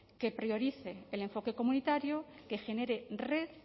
que priorice el enfoque comunitario que genere red